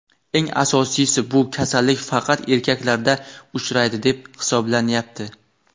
Eng asosiysi bu kasallik faqat erkaklarda uchraydi deb hisoblanyapti.